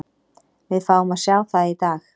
Við fáum að sjá það í dag.